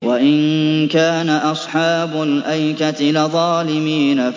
وَإِن كَانَ أَصْحَابُ الْأَيْكَةِ لَظَالِمِينَ